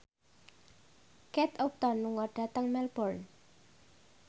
Kate Upton lunga dhateng Melbourne